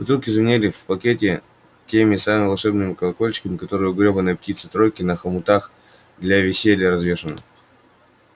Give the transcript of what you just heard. бутылки звенели в пакете теми самыми волшебными колокольчиками которые у грёбаной птицы-тройки на хомутах для веселья развешены